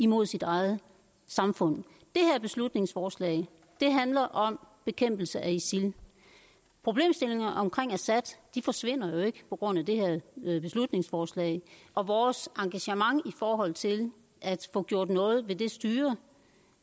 mod sit eget samfund det her beslutningsforslag handler om bekæmpelse af isil problemstillingerne omkring assad forsvinder jo ikke på grund af det her beslutningsforslag og vores engagement i forhold til at få gjort noget ved det styre